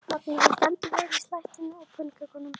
Magnús: Þú stendur þig vel í slættinum og pönnukökunum?